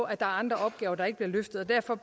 er andre opgaver der ikke bliver løftet og derfor